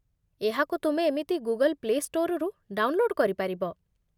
ଏହାକୁ ତୁମେ ଏମିତି ଗୁଗଲ ପ୍ଲେ ଷ୍ଟୋରରୁ ଡାଉନଲୋଡ୍ କରିପାରିବ